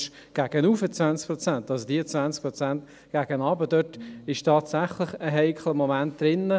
Bei den 20 Prozent nach unten ist tatsächlich ein heikler Moment drin.